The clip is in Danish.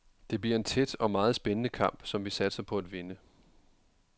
Det bliver en tæt og meget spændende kamp, som vi satser på at vinde.